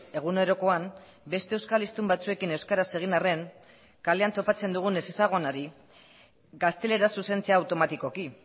egunerokoan beste euskal hiztun batzuekin euskaraz egin arren kalean topatzen dugun ezezagunari gazteleraz zuzentzea automatikoki